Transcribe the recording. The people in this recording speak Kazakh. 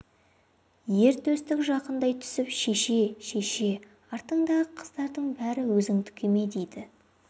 ер төстік жақындай түсіп шеше шеше артыңдағы қыздардың бәрі өзіңдікі ме дейді